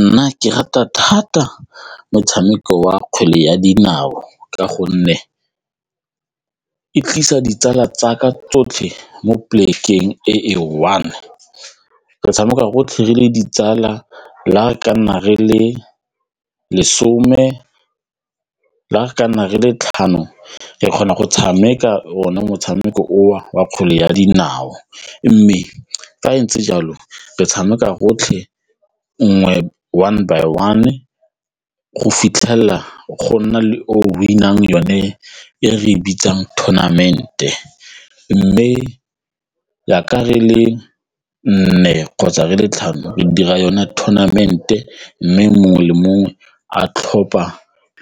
Nna ke rata thata motshameko wa kgwele ya dinao ka gonne e tlisa ditsala tsa ka tsotlhe mo polekeng e e one, re tshameka gotlhelele ditsala le ga re ka nna re le lesome, le ga re ka nna re le tlhano re kgona go tshameka one motshameko o wa kgwele ya dinao mme fa go ntse jalo re tshameka rotlhe nngwe one by one go fitlhelela go nna le o win-ang yone e re e bitsang tournament-e mme jaaka re le nne kgotsa re le tlhano re dira yone ten payment e mme mongwe le mongwe a tlhopha